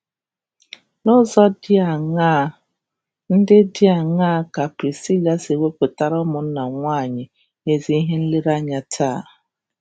N’ụzọ ndị dị aṅaa ndị dị aṅaa ka Prisila si wepụtara ụmụnna nwanyị ezi ihe nlereanya taa?